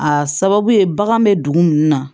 A sababu ye bagan bɛ dugu mun na